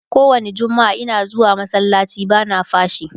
kowani jummaa Ina zuwa masallaci bana fashii